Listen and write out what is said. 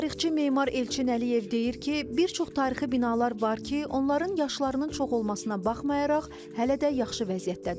Tarixçi memar Elçin Əliyev deyir ki, bir çox tarixi binalar var ki, onların yaşlarının çox olmasına baxmayaraq, hələ də yaxşı vəziyyətdədirlər.